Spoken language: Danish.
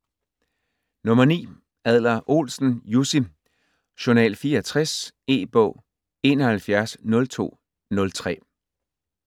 Adler-Olsen, Jussi: Journal 64 E-bog 710203